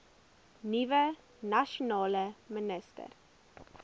nuwe nasionale minister